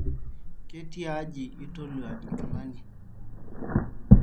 ketiaji itolua nkilani?